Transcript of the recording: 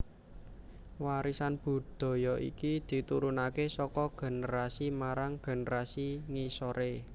Warisan budaya iki diturunakè saka generasi marang generasi ngisorè